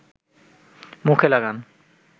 মুখে লাগান